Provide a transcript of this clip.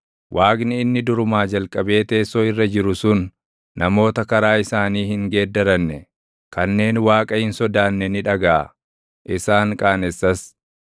Waaqni inni durumaa jalqabee teessoo irra jiru sun, Namoota karaa isaanii hin geeddaranne, kanneen Waaqa hin sodaanne ni dhagaʼa; isaan qaanessas.